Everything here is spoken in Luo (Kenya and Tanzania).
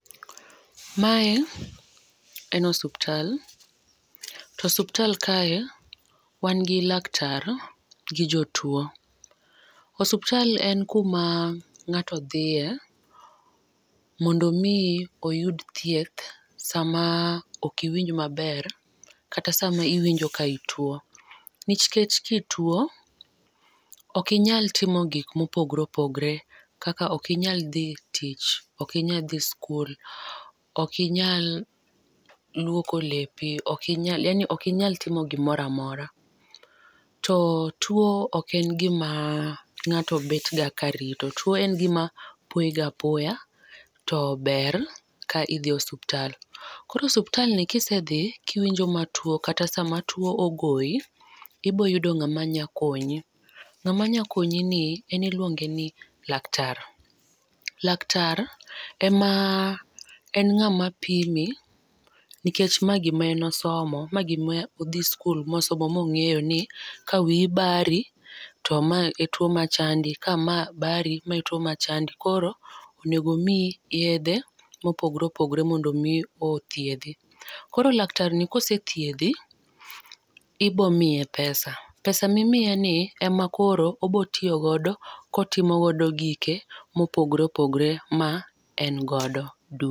Ma en osiptal to osiptal kae wan gi laktar gi jo tuo. Osiptal en ku ma ng'ato dhiye mondo mi oyud thieth sa ma ok owinj ma ber kata sa ma iwinjo ki ituo, nikech ki ituo ok inyal timo gik ma opogore opogore kaka ok inyal dhi tich, ok inyal dhi skul ,ok inyal luoko lepi ok inyal yaani ok inyal timo gi moro mora. To tuo ok en gi ma ng'ato bet ga ka rito tuo en gi ma poyi ga poya to ber ka idhi osiptal. Koro osiptal ni kisedhi ki iwinjo matuo kata saa ma tuo ogoyi ibo yudo ng'ama nya konyi. Ng'ama nya konyi ni en iluonge ni laktar laktar ema en ng'ama pimi nikech ma gi ma osomo ma ngima odhi skul ma osomo ma ong'eyo ni ka wiyi bari to ma en tuo ma chandi ,ka ma bari ma e tuo ma chandi koro onego omiyi yedhe ma opogore opogore mondo omi othiedhi. Koro laktar ni ka osethiedhi ibiro miye pesa ,pesa mi imiye ni ema koro obo tiyo godo ka otimo godo gike ma opogore opogore ma en godo.